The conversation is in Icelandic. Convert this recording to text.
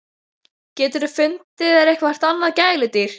GETUR FUNDIÐ ÞÉR EITTHVERT ANNAÐ GÆLUDÝR!